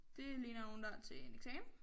Det ligner nogen der til en eksamen